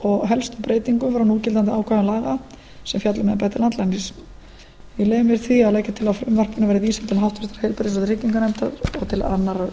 og helstu breytingum frá núgildandi ákvæðum laga sem fjalla um embætti landlæknis ég leyfi mér því að leggja til að frumvarpinu verði vísað til háttvirtrar heilbrigðis og trygginganefndar og til annarrar umræðu